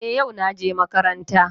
Eh, yau naje makaranta.